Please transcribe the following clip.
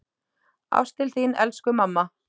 Ást til þín, elsku mamma.